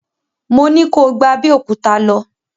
Mo ní ko gba Abẹ́òkúta lọ!